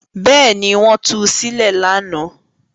Bẹ́ẹ̀ ni, wọ́n tu sílẹ̀ lánàá.